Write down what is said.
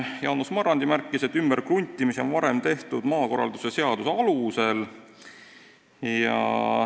Jaanus Marrandi märkis, et ümberkruntimist on varem tehtud maakorraldusseaduse alusel.